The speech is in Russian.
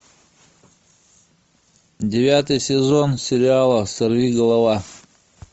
девятый сезон сериала сорвиголова